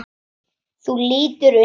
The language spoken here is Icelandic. Þú lítur undan.